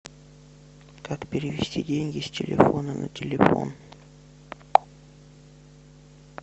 как перевести деньги с телефона на телефон